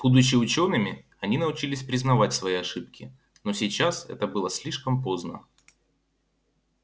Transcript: будучи учёными они научились признавать свои ошибки но сейчас это было слишком поздно